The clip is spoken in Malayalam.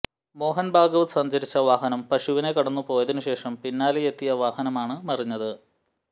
മോഹന് ഭാഗവത് സഞ്ചരിച്ച വാഹനം പശുവിനെ കടന്നുപോയതിനു ശേഷം പിന്നാലെയെത്തിയ വാഹനമാണ് മറിഞ്ഞത്